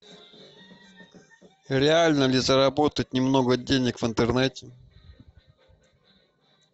реально ли заработать немного денег в интернете